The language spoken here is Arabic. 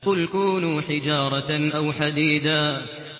۞ قُلْ كُونُوا حِجَارَةً أَوْ حَدِيدًا